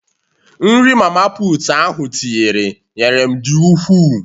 Nri mama putu ahụ tinyere nyere m di ukwuu